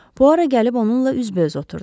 Puara gəlib onunla üzbəüz oturdu.